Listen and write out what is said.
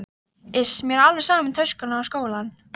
Ef þú kemur ekki þá hef ég verið